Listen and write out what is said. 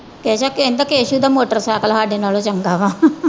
ਕਹਿ ਕਾ ਕਹਿੰਦਾ ਕੇਸੂ ਦਾ ਮੋਟਰ ਸਾਇਕਲ ਸਾਡੇ ਨਾਲੋਂ ਚੰਗਾ ਵਾ।